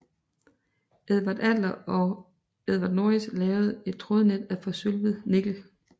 Edward Adler og Edward Norris lavede et trådnet af forsølvet nikkel